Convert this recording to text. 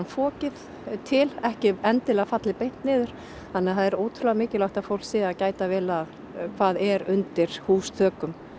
fokið til ekki endilega fallið bara beint niður þannig að það er ótrúlega mikilvægt að fólk sé að gæta vel að hvað er undir húsþökum